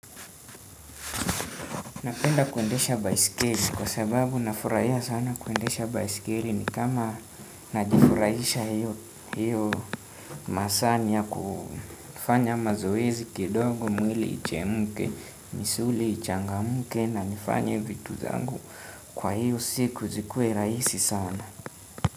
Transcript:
Napenda kuendesha baiskeli kwa sababu nafurahia sana kuendesha baiskeli ni kama najifurahisha hiyo masaa ni ya kufanya mazoezi kidogo mwili ichemke, misuli ichangamke na nifanye vitu zangu kwa hiyo siku zikue rahisi sana.